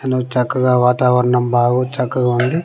అను చక్కగా వాతావరణం బాగు చక్కగా ఉంది.